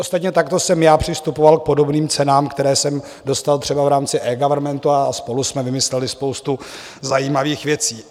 Ostatně takto jsem já přistupoval k podobným cenám, které jsem dostal třeba v rámci eGovernmentu a spolu jsme vymysleli spoustu zajímavých věcí.